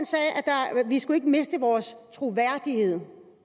lige skal miste vores troværdighed